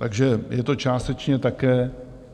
Takže je to částečně také